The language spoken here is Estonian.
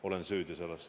Olen süüdi.